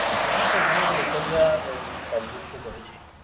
করেছে। এখানের local রা উহ help হুল্প তো করেছেই।